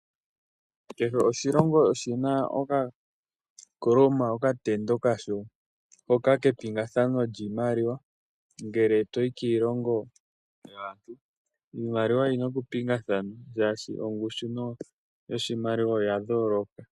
Kehe oshilongo oshi na okakoloma kepingathano lyoshimaliwa ngele to yi kiilongo yaantu. Iimaliwa oyi na okupingathana shaashi ongushu yoshimaliwa oya yooloka.